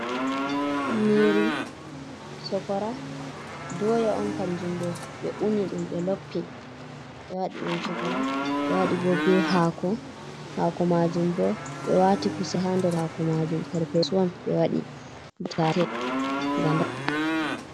Nyiiri sokora, dooya on kanjum ɗo, ɓe uni ɗum, ɓe loppi, ɓe waɗi dum sokora ɓe waɗi bo bee haako maajum, bo ɓe waati kusel haa nder haako maajum perpeedu on ɓe wadi bitate gada.